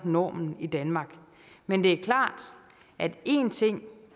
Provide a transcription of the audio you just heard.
normen i danmark men det er klart at en ting